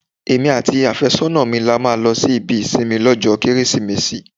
Èmi àti afésónà mi la máa lọ sí ibi ìsinmi lọ́jọ́ Kérésìmesì.